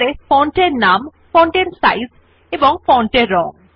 Writer এ font এর নাম ফন্ট এর সাইজ ফন্ট এর রং